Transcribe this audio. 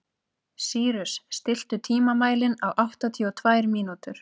Sýrus, stilltu tímamælinn á áttatíu og tvær mínútur.